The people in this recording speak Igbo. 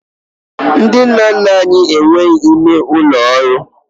Ndị nna nna anyị ha enweghị ime ụlọ ọrụ